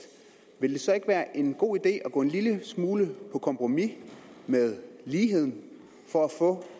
vil det så ikke være en god idé at gå en lille smule på kompromis med ligheden for at få